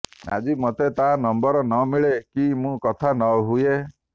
ଆଜି ମୋତେ ତା ନମ୍ବର ନ ମିଳେ କି ମୁଁ କଥା ନ ହୁଏ